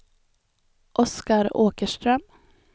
Oscar Åkerström